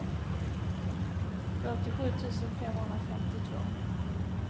fyrtiosju tusen femhundrafemtiotvå